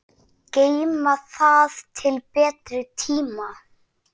Geyma það til betri tíma.